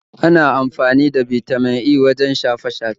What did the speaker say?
Ana amfani da Bitamin E cikin kayan shafe-shafe